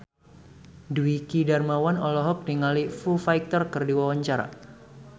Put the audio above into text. Dwiki Darmawan olohok ningali Foo Fighter keur diwawancara